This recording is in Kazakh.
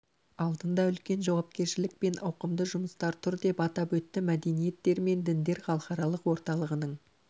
алдында үлкен жауапкершілік пен ауқымды жұмыстар тұр деп атап өтті мәдениеттер мен діндер халықаралық орталығының